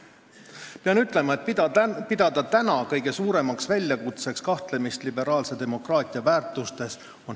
Pean ütlema, et on hämmastav pidada kõige suuremaks väljakutseks kahtlemist liberaalse demokraatia väärtustes.